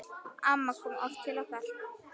Amma kom oft til okkar.